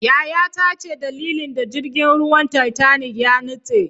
yayata ce dalilin da jirgin ruwan titanic ya nitse